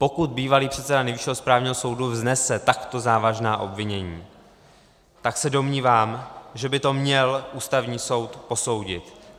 - Pokud bývalý předseda Nejvyššího správního soudu vznese takto závažná obvinění, tak se domnívám, že by to měl Ústavní soud posoudit.